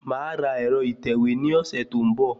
Màá ra ẹ̀rọ ìtẹ̀wé ní ọ̀sẹ̀ tó ń bọ̀